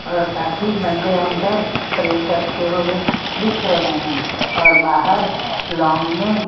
और काफी बंदे अंदर प्रे करते हुए दिख रहे हैं और बाहर लौंग में--